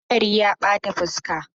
Hadarin ya bata fuska.